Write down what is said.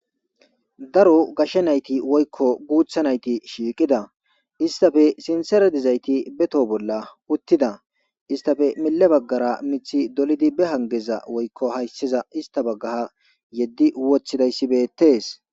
Daro gashshe nayti woykko guutha nayti shiiqida istafe sinseredizayti beto bolla uttida istafe mille baggara mithi dolidi be hangeza woykko hayssiza ista baggaha yeddi wothidayssi bettes